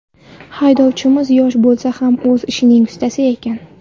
Haydovchimiz yosh bo‘lsa ham o‘z ishining ustasi ekan.